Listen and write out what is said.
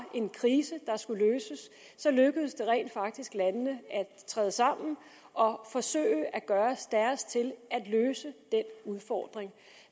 en krise der skulle løses lykkedes det rent faktisk landene at træde sammen og forsøge at gøre deres til at løse den udfordring